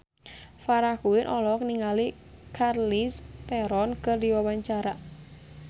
Farah Quinn olohok ningali Charlize Theron keur diwawancara